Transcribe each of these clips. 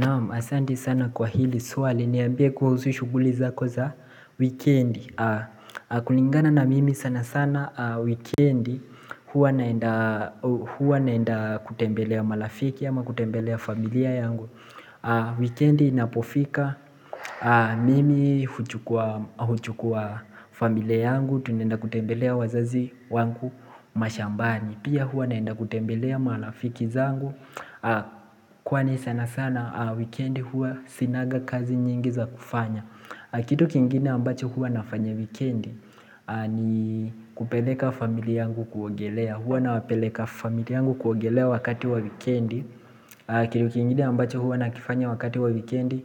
Naam, asanti sana kwa hili swali niambie kuhusu shughuli zako za wikendi kulingana na mimi sana sana wikendi huwa naenda Huwa naenda kutembelea marafiki ama kutembelea familia yangu Wikendi inapofika mimi huchukua familia yangu Tunaenda kutembelea wazazi wangu mashambani Pia huwa naenda kutembelea marafiki zangu Kwani sana sana wikendi huwa sinaga kazi nyingi za kufanya Kitu kingine ambacho huwa nafanya wikendi ni kupeleka familia yangu kuogelea Huwa nawapeleka familia yangu kuogelea wakati wa wikendi Kitu kingine ambacho huwa nakifanya wakati wa wikendi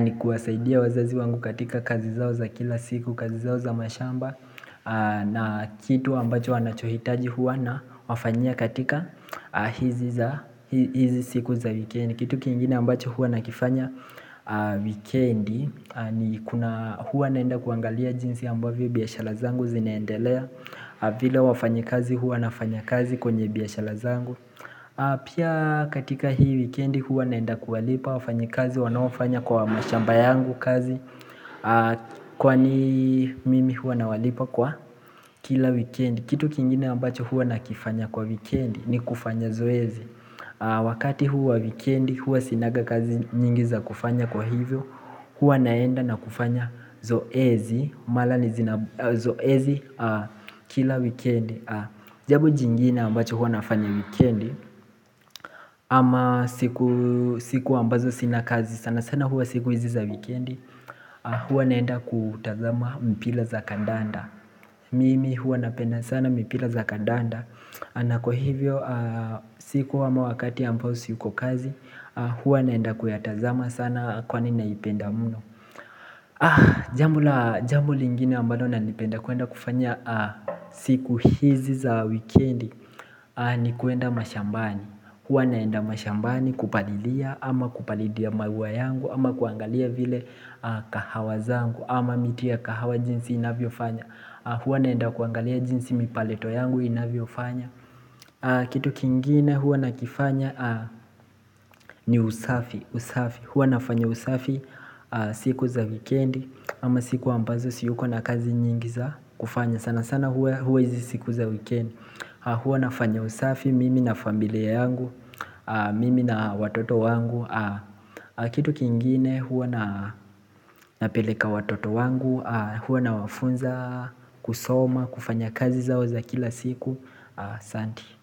ni kuwasaidia wazazi wangu katika kazi zao za kila siku kazi zao za mashamba na kitu ambacho wanachohitaji huwa na wafanyia katika hizi siku za wikendi Kitu kingine ambacho huwa nakifanya Wikendi ni kuna huwa naenda kuangalia jinsi ambavyo biashara zangu zinaendelea vile wafanyakazi huwa nafanya kazi kwenye biashara zangu Pia katika hii wikendi huwa naenda kuwalipa wafanyakazi wanaofanya kwa mashamba yangu kazi Kwani mimi huwa nawalipa kwa kila wikendi Kitu kingine ambacho huwa nakifanya kwa wikendi ni kufanya zoezi Wakati huwa wikendi Huwa sinaga kazi nyingi za kufanya kwa hivyo Huwa naenda na kufanyazoezi kila wikendi Jambo jingine ambacho huwa nafanya wikendi ama siku ambazo sina kazi sana sana huwa siku hizi za wikendi Huwa naenda kutazama mpila za kandanda Mimi huwa napenda sana mpira za kandanda na kwa hivyo siku ama wakati ambao siko kazi Huwa naenda kuyatazama sana kwani naipenda muno Jambo lingine ambalo nanipenda kuenda kufanya siku hizi za wikendi ni kuenda mashambani Huwa naenda mashambani kupalilia ama kupalilia maua yangu ama kuangalia vile kahawa zangu ama miti ya kahawa jinsi inavyofanya Huwa naenda kuangalia jinsi mipareto yangu inavyofanya Kitu kingine huwa nakifanya ni usafi Huwa nafanya usafi siku za wikendi ama siku ambazo siyuko na kazi nyingi za kufanya sana sana huwa hizi siku za wikendi Huwa nafanya usafi mimi na familia yangu Mimi na watoto wangu Kitu kingine huwa napeleka watoto wangu Huwa nawafunza kusoma kufanya kazi zao za kila siku asanti.